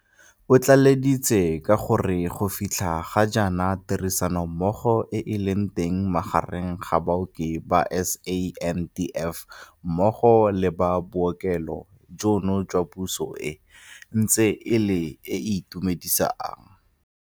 Otlaleleditse ka gore go fitlha ga jaana tirisanommogo e e leng teng magareng ga baoki ba SANDF mmogo le ba bookelo jono jwa puso e ntse e le e e itumedisang.